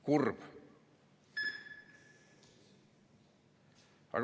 Kurb.